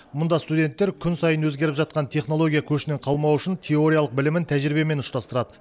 мұнда студенттер күн сайын өзгеріп жатқан технология көшінен қалмау үшін теориялық білімін тәжірибемен ұштастырады